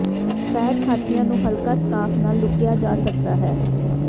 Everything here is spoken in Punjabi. ਫੈਟ ਹਾਥੀਆਂ ਨੂੰ ਹਲਕਾ ਸਕਾਰਫ ਨਾਲ ਲੁਕਿਆ ਜਾ ਸਕਦਾ ਹੈ